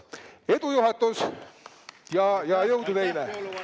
Edu, juhatus, ja jõudu teile!